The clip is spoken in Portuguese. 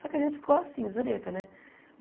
Só que a gente ficou assim, zureta, né?